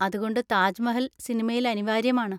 അതുകൊണ്ട് താജ് മഹൽ സിനിമയിൽ അനിവാര്യമാണ്.